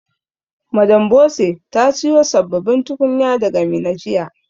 Madam Bose ta siyo sabbabin tukunya daga Minna jiya.